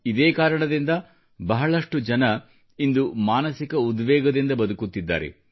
ಇದೇ ಕಾರಣದಿಂದ ಬಹಳಷ್ಟು ಜನರು ಇಂದು ಮಾನಸಿಕ ಉದ್ವೇಗದಿಂದ ಬದುಕುತ್ತಿದ್ದಾರೆ